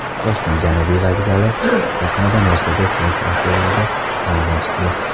Toshkent Janubiy vokzali yaqinida Mercedes-Benz avtobusida yong‘in chiqdi.